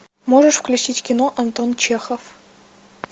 можешь включить кино антон чехов